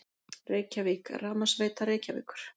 Reykjavík: Rafmagnsveita Reykjavíkur.